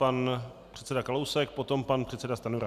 Pan předseda Kalousek, potom pan předseda Stanjura.